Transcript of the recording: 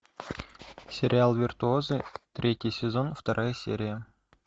сериал виртуозы третий сезон вторая серия